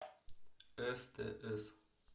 стс